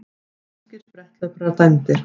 Grískir spretthlauparar dæmdir